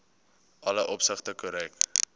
alle opsigte korrek